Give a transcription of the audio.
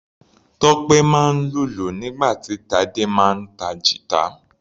Tope máa ń lùlù nígbà tí Tade máa ń ta guitar.